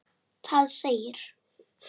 Það segir